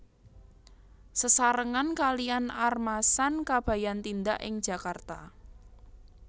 Sesarengan kaliyan Armasan Kabayan tindak ing Jakarta